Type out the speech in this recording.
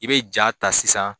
I bɛ ja ta sisan